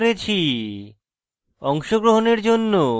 আমি কৌশিক দত্ত এই টিউটোরিয়ালটি অনুবাদ করেছি